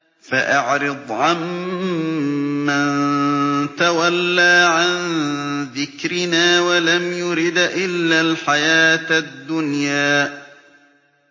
فَأَعْرِضْ عَن مَّن تَوَلَّىٰ عَن ذِكْرِنَا وَلَمْ يُرِدْ إِلَّا الْحَيَاةَ الدُّنْيَا